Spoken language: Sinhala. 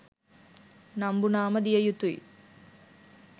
නම්බු නාම දිය යුතුයි.